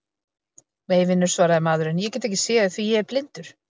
Nei, vinur, svaraði maðurinn, ég get ekki séð því ég er blindur.